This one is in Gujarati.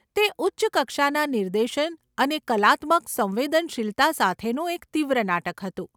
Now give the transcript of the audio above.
તે ઉચ્ચ કક્ષાના નિર્દેશન અને કલાત્મક સંવેદનશીલતા સાથેનું એક તીવ્ર નાટક હતું.